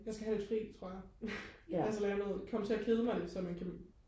jeg skal have lidt fri tror jeg jeg skal lave noget komme til at kede mig lidt så man kan